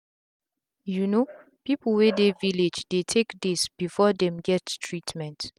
you no people wey dey village dey take days before them get treatment.